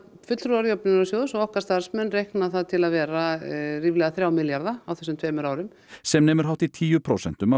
fulltrúar Jöfnunarsjóðs og okkar starfsmenn reikna það til að vera ríflega þrjá milljarða á þessum tveimur árum sem nemur hátt í tíu prósentum af